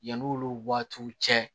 Yan'olu waatiw cɛ